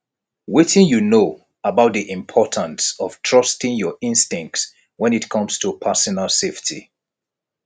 wetin you know about di importance of trusting your instincts when it comes to personal safety